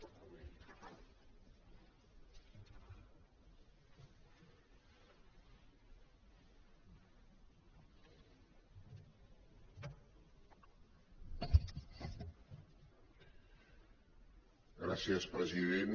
gràcies president